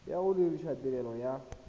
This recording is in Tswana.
ya go dirisa tirelo ya